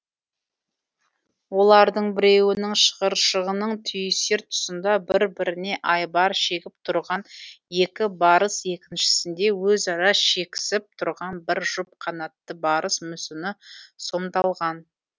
олардың біреуінің шығыршығының түйісер тұсында бір біріне айбар шегіп тұрған екі барыс екіншісінде өзара шекісіп тұрған бір жұп қанатты барыс мүсіні сомдалған